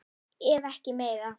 Ef ekki meira.